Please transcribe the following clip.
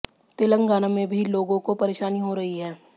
तेलंगाना में भी लोगों को परेशानी हो रही है